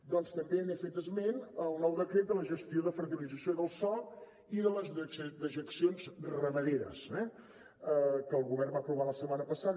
doncs també n’he fet esment el nou decret de la gestió de fertilització del sòl i de les dejeccions ramaderes eh que el govern va aprovar la setmana passada